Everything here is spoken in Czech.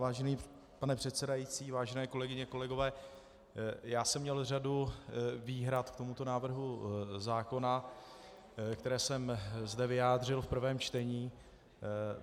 Vážený pane předsedající, vážené kolegyně, kolegové, já jsem měl řadu výhrad k tomuto návrhu zákona, které jsem zde vyjádřil v prvém čtení.